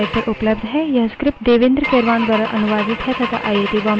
इस पर अधिक जानकारी हमारी निम्नलिखित वेबसाइट पर उपलब्ध है